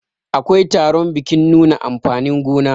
akwai taron bikin nuna amfanin gona